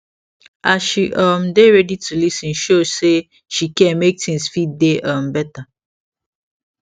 as she um dey ready to lis ten show say she care make things fit dey um better